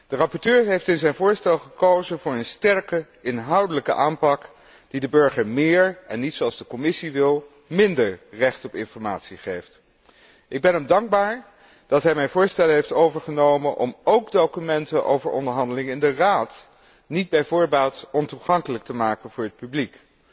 De rapporteur heeft in zijn voorstel gekozen voor een sterke inhoudelijke aanpak die de burger meer en niet zoals de Commissie wil, minder recht op informatie geeft. Ik ben hem dankbaar dat hij mijn voorstellen heeft overgenomen om ook documenten over onderhandelingen in de Raad niet bij voorbaat ontoegankelijk te maken voor het publiek.